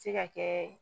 Se ka kɛ